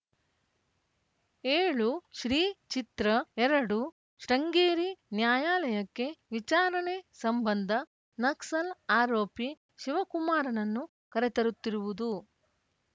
ಏಳು ಶ್ರೀ ಚಿತ್ರ ಎರಡು ಶೃಂಗೇರಿ ನ್ಯಾಯಾಲಯಕ್ಕೆ ವಿಚಾರಣೆ ಸಂಬಂಧ ನಕ್ಸಲ್‌ ಆರೋಪಿ ಶಿವಕುಮಾರ್‌ನನ್ನು ಕರೆತರುತ್ತಿರುವುದು